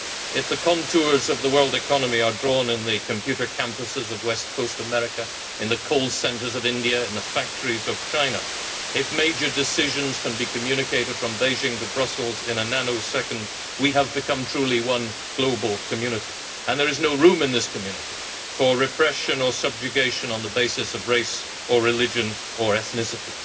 If the contours of the world economy are drawn in the computer campuses of West Coast America, in the call centres of India, in the factories of China, if major decisions can be communicated from Beijing to Brussels in a nanosecond, we have become truly one global community, and there is no room in this community for repression or subjugation on the basis of race or religion or ethnicity